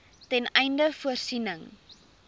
ten einde voorsiening